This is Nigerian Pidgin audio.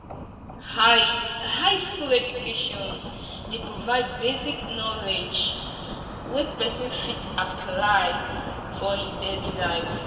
high high school education de provide basic knowledge wey persin fit apply for in daily life